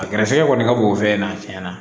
A gɛrɛsɛgɛ kɔni ka bon o fɛn in na tiɲɛ na